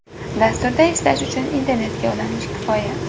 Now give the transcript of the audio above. Dasturda ishlash uchun internetga ulanish kifoya.